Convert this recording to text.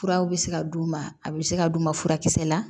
Furaw bɛ se ka d'u ma a bɛ se ka d'u ma furakisɛ la